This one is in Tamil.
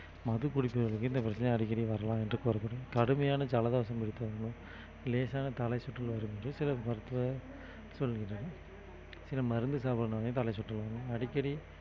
மது குடித்தவர்களுக்கு இந்த பிரச்சனை அடிக்கடி வரலாம் என்று கூறப்படும் கடுமையான ஜலதோஷம் பிடித்தவர்களும் லேசான தலைசுற்றல் வரும் என்று சில மருத்துவர் சொல்கிறார் சில மருந்து தலைசுற்றல் வரும் அடிக்கடி